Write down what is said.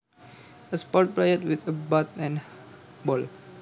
A sport played with a bat and ball